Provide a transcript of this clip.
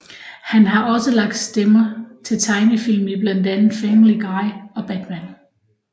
Han har også lagt stemme til tegnefilm i blandt andet Family Guy og Batman